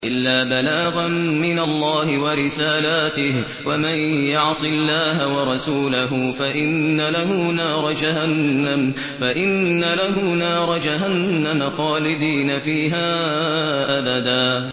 إِلَّا بَلَاغًا مِّنَ اللَّهِ وَرِسَالَاتِهِ ۚ وَمَن يَعْصِ اللَّهَ وَرَسُولَهُ فَإِنَّ لَهُ نَارَ جَهَنَّمَ خَالِدِينَ فِيهَا أَبَدًا